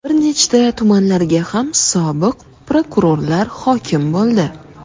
Bir nechta tumanlarga ham sobiq prokurorlar hokim bo‘ldi.